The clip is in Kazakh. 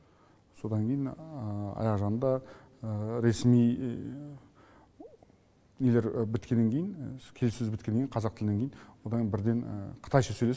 содан кейін аяқ жағында ресми нелер біткеннен кейін келіссөз біткеннен кейін қазақ тілінен кейін одан кейін бірден қытайша сөйлесіп